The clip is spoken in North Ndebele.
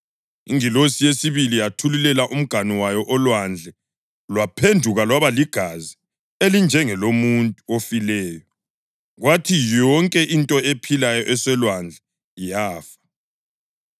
Ingilosi yesibili yathululela umganu wayo olwandle lwaphenduka lwaba ligazi elinjengelomuntu ofileyo, kwathi yonke into ephilayo esolwandle yafa.